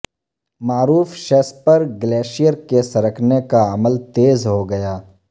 معروف شیسپر گلیشئر کے سرکنے کا عمل تیز ہو گیا